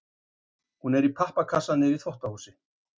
Hún er í pappakassa niðri í þvottahúsi.